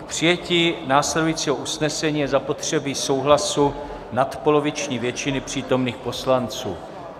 K přijetí následujícího usnesení je zapotřebí souhlasu nadpoloviční většiny přítomných poslanců.